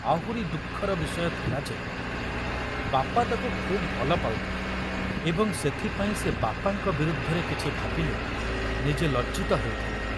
ଆହୁରି ଦୁଃଖର ବିଷୟ ଥିଲା ଯେ ବାପା ତାକୁ ଖୁବ ଭଲ ପାଉଥିଲେ ଏବଂ ସେଥିପାଇଁ ସେ ବାପାଙ୍କ ବିରୁଦ୍ଧରେ କିଛି ଭାବିଲେ ନିଜେ ଲଜ୍ଜିତ ହେଉଥିଲା।